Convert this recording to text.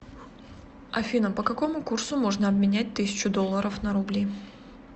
афина по какому курсу можно обменять тысячу долларов на рубли